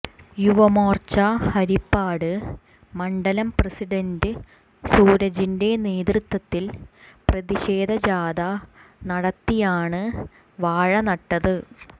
യുവമോർച്ച ഹരിപ്പാട് മണ്ഡലം പ്രസിഡൻറ് സൂരജിൻെറ നേതൃത്വത്തിൽ പ്രതിഷേധ ജാഥ നടത്തിയാണ് വാഴനട്ടത്